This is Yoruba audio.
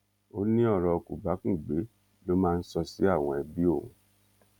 ó ní ọrọ kòbákùngbé ló máa ń sọ sí àwọn ẹbí òun